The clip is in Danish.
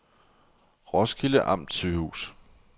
Roskilde Amtssygehus